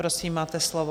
Prosím, máte slovo.